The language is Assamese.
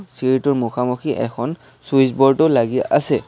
চিৰিটোৰ মুখামুখি এখন চুইচ ব'ৰ্ডো লাগি আছে।